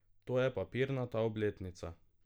To je papirnata obletnica.